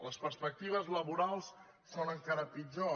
les perspectives laborals són encara pitjors